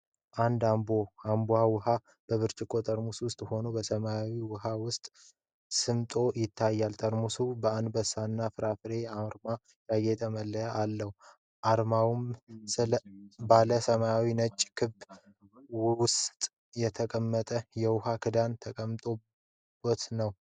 አንድ አንቦ (Ambo) ውሃ በብርጭቆ ጠርሙስ ውስጥ ሆኖ በሰማያዊ ውሃ ውስጥ ሰምጦ ይታያል። ጠርሙሱ በአንበሳና ፍራፍሬ አርማ ያጌጠ መለያ አለው። አርማው ባለ ሰማያዊና ነጭ ክብ ውስጥ ተቀምጧል። የውሃው ዳራ የተንቦገቦገ ነው።